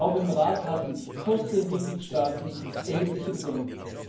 Auch im Rat hatten 14 Mitgliedstaaten erhebliche Bedenken.